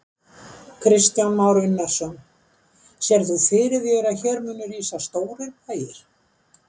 Kristján Már Unnarsson: Sérð þú fyrir þér að hér muni rísa stórir bæir?